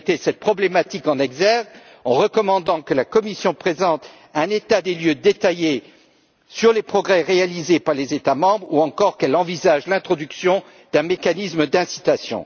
Vous mettez cette problématique en exergue en recommandant que la Commission présente un état des lieux détaillé des progrès réalisés par les États membres, ou encore qu'elle envisage l'introduction d'un mécanisme d'incitation.